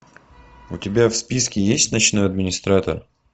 у тебя в списке есть ночной администратор